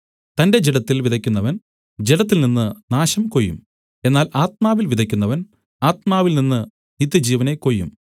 തന്റെ ജഡത്തിൽ വിതയ്ക്കുന്നവൻ ജഡത്തിൽനിന്ന് നാശം കൊയ്യും എന്നാൽ ആത്മാവിൽ വിതയ്ക്കുന്നവൻ ആത്മാവിൽനിന്ന് നിത്യജീവനെ കൊയ്യും